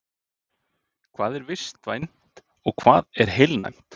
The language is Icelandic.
Hvað er vistvænt og hvað er heilnæmt?